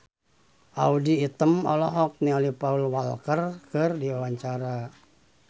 Audy Item olohok ningali Paul Walker keur diwawancara